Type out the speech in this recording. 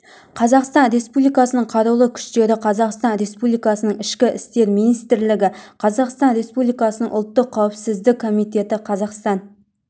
қазақстан республикасының қарулы күштері қазақстан республикасының ішкі істер министрлігі қазақстан республикасының ұлттық қауіпсіздік комитеті қазақстан